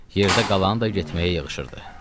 Yerdə qalanı da getməyə yığışırdı.